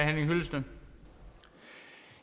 når